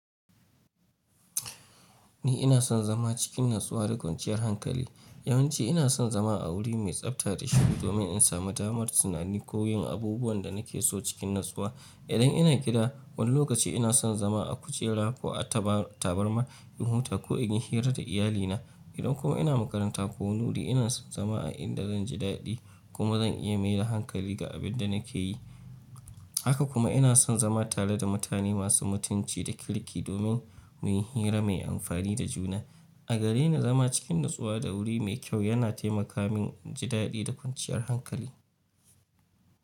Ni ina son zama cikin natsuwa da kwanciyar hankali. Yawan ci ina son zama a wuri mai tsafta da shiru domin in samu damar tunani ko yin abubuwan da nake so cikin natsuwa. Idan ina gida, wani lokaci ina son zama a kujera ko a tabarma in huta ko in yi hira da iyalina. Idan kuma ina makaranta ko wani wuri, ina son zama a inda zan ji daɗi kuma zan iya maida hankali ga abin da nake yi. Haka kuma ina son zama tare da mutane masu mutunci da kirki domin muyi hira mai amfani da juna. A gare ni, zama cikin natsuwa da wuri mai kyau yana taimaka min in ji daɗi da kwanciyar hankali.